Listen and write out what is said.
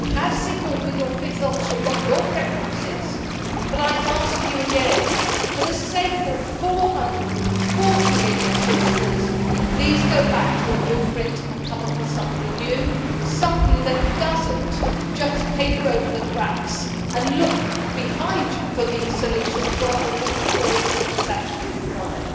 You have signalled with your fifth option what your preference is, but I ask you again, for the sake of 440 million citizens, please go back to a blueprint and come up with something new, something that does not just paper over the cracks and look backwards for solutions, rather than looking forward for what is actually required.